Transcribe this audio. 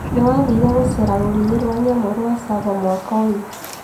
Nĩwathire gũcera rũriĩ wa nyamu rwa Tsavo mwaka ũyũ